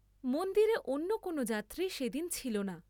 মন্দিরে অন্য কোন যাত্রী সে দিন ছিলনা।